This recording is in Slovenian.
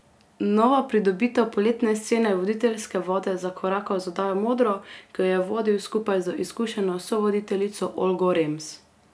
Nova pridobitev Poletne scene je v voditeljske vode zakorakal z oddajo Modro, ki jo je vodil skupaj z izkušeno sovoditeljico Olgo Rems.